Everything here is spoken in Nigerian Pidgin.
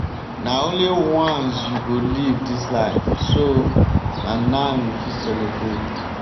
na only once you go live dis life so na now you fit celebrate.